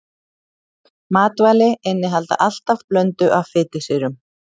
Matvæli innihalda alltaf blöndu af fitusýrum.